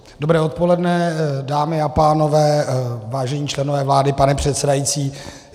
Dobré odpoledne, dámy a pánové, vážení členové vlády, pane předsedající.